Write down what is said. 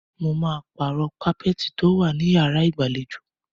Mo máa pàrọ̀ kápẹ́ẹ́tì tó wà ní yàrá ìgbàlejò.